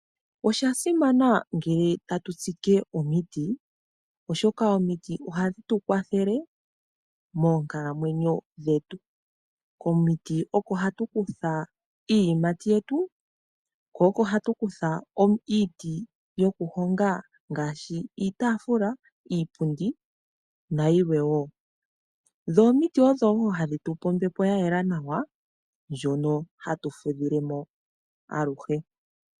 Osha simana ngele tatu tsike omiti oshoka omiti ohadhi tu kwathele moonkalamwenyo dhetu. Komiti oko hatu kutha iiyimati yetu, iiti yoku honga iitafula nayilwe. Omiti odhi tupe ombepo ndjono yayela nawa hatu fudhilemo aluhe.